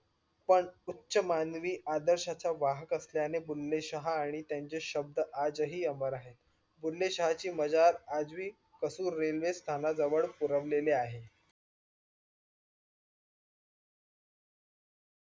पण उच्च मानवी आदर्श च्या वाहक असल्याने बुल्लेशाहा आणि त्यांचे शब्द आजही अमर आहे. बुल्लेशाहा ची मजार आजही कपूर रेल्वे स्थानाजवल पुरवलेले आहे.